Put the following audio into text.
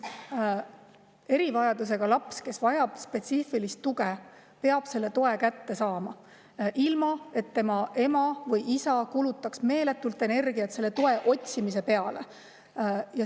Erivajadusega laps, kes vajab spetsiifilist tuge, peab selle toe kätte saama, ilma et tema ema või isa kulutaks meeletult energiat selle toe otsimise peale.